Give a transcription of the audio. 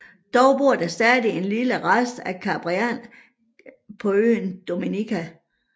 Dog bor der stadig en lille rest af Cariberne på øen Dominica